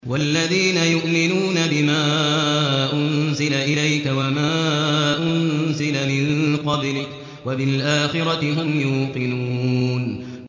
وَالَّذِينَ يُؤْمِنُونَ بِمَا أُنزِلَ إِلَيْكَ وَمَا أُنزِلَ مِن قَبْلِكَ وَبِالْآخِرَةِ هُمْ يُوقِنُونَ